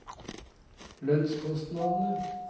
lønnskostnadene